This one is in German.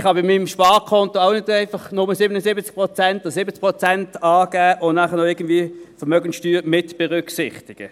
Ich kann bei meinem Sparkonto auch nicht einfach nur 77 Prozent und 70 Prozent angeben und die Vermögenssteuer noch mitberücksichtigen.